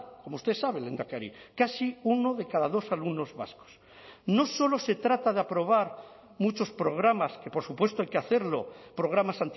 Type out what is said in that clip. como usted sabe lehendakari casi uno de cada dos alumnos vascos no solo se trata de aprobar muchos programas que por supuesto hay que hacerlo programas